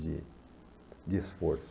De de esforço.